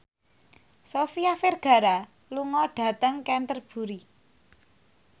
Sofia Vergara lunga dhateng Canterbury